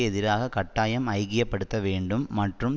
எதிராக கட்டாயம் ஐக்கிய படுத்த வேண்டும் மற்றும்